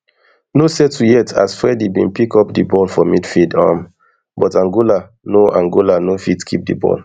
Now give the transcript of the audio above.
no settle yet as fredy bin pick up di ball for midfield um but angola no angola no fit keep di ball